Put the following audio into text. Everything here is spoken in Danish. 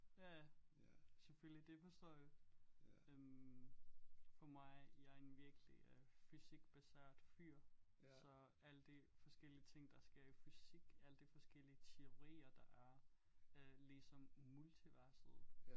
Ja ja selvfølgelig det forstår jeg øh for mig jeg er en virkelig øh fysikbaseret fyr så alt det forskellige ting der sker i fysik alt det forskellige teorier der er øh ligesom multiverset